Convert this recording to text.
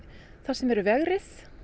þar sem eru vegrið